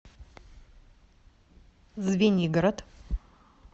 звенигород